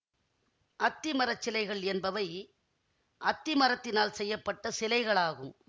அத்தி மரச்சிலைகள் என்பவை அத்தி மரத்தினால் செய்ய பட்ட சிலைகள் ஆகும்